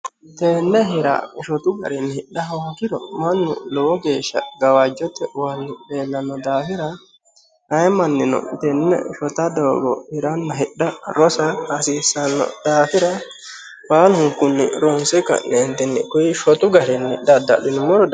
tenne hira shotu garinni hidha hoongiro mannu lowo geeshsha gawajjote uwanni leellanno daafira ayee manchino tenne shota doogo hiranna hidha rosa hasiissanno daafira baalunkunni ronse ka'neentinni kunni shotu garinni dadda'linummoro danchaho.